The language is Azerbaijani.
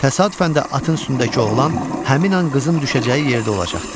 Təsadüfən də atın üstündəki oğlan həmin an qızın düşəcəyi yerdə olacaqdı.